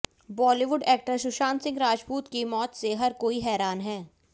Bollywood actor Sushant Singh Rajput की मौत से हर कोई हैरान है